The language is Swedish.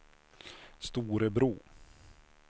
Storebro